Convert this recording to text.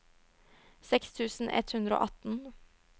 seks tusen ett hundre og atten